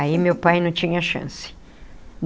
Aí meu pai não tinha chance.